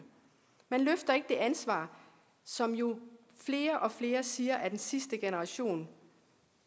man løfter ikke det ansvar som jo flere og flere siger vi er den sidste generation